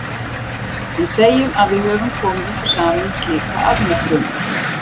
En segjum að við höfum komið okkur saman um slíka afmörkun.